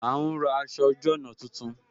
A ń ra aṣọ ojú ọna tuntun